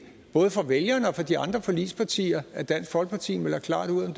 både for vælgerne og for de andre forligspartier at dansk folkeparti melder klart ud om